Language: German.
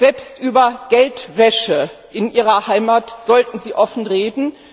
Selbst über Geldwäsche in Ihrer Heimat sollten Sie offen reden.